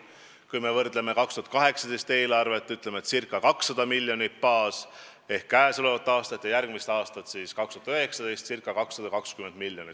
Kui me võrdleme 2018. aasta eelarvet, kui baas oli ca 200 miljonit, ja järgmist aastat, siis see summa on ca 220 miljonit.